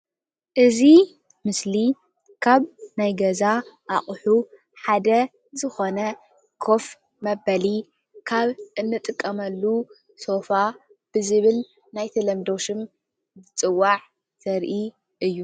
እዚ ምስሊ ካብ ናይ ገዛ እቁሑ ሓደ ዝኮነ ኮፍ መበሊ ካብ እንጥቀመሉ ሶፋ ብዝብል ናይ ተለምዶ ሽም ዝፅዋዕ ዘርኢ እዩ ።